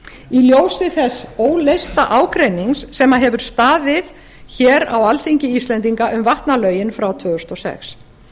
í ljósi þess óleysta ágreinings sem hefur staðið hér á alþingi íslendinga um vatnalögin frá tvö þúsund og sex